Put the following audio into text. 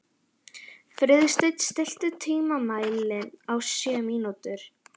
Friðsteinn, stilltu tímamælinn á sjö mínútur.